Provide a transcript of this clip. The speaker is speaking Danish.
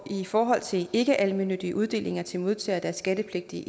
i forhold til ikkealmennyttige uddelinger til modtagere der er skattepligtige